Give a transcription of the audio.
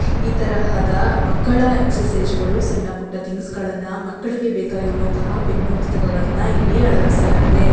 ಈ ತರಹದ ಮಕ್ಕಳ ಎಕ್ಸಸೈಜ್ಗಳು ಸಣ್ಣ ಪುಟ್ಟ ಥಿಂಗ್ಸ್ಗಳನ್ನ ಮಕ್ಕಳಿಗೆ ಬೇಕಾಗಿರುವಂತಹ ಪೆನ್ನು ಪುಸ್ತಕಗಳನ್ನ ಇಲ್ಲಿ ಅಳವಡಿಸಲಾಗಿದೆ.